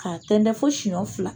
K'a tɛndɛ fo siyɔn fila.